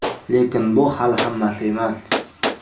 Lekin bu hali hammasi emas.